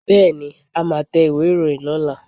Bẹ́ẹ̀ni, a máa tẹ ìwé ìròyìn lọ́la